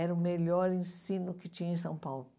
Era o melhor ensino que tinha em São Paulo.